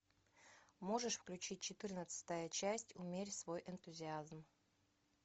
можешь включить четырнадцатая часть умерь свой энтузиазм